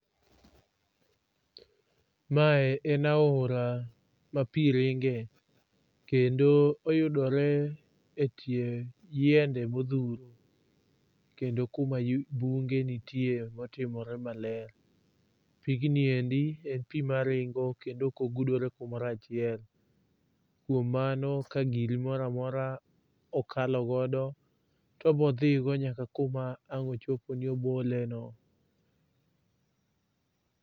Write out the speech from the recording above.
Mae en aora ma pi ringe. Kendo oyudore e tie yiende modhuro kendo kuma bunge nitie motimore maler. Pigniendi en pi maringo kendo ok ogudore kumoro achiel. Kuom mano ka giri moro amora okalogodo to obodhigo nyak kuma ong' ochopo ni oboleno.